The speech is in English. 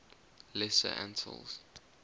lesser antilles